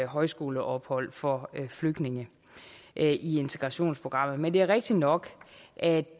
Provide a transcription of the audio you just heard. højskoleophold for flygtninge i integrationsprogrammet men det er rigtig nok at